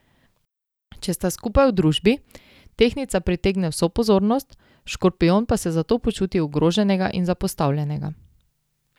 Če sta skupaj v družbi, tehtnica pritegne vso pozornost, škorpijon pa se zato počuti ogroženega in zapostavljenega.